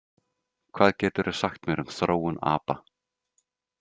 Hvað geturðu sagt mér um þróun apa?